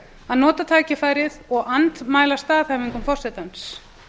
að nota tækifærið og andmæla staðhæfingum forsetans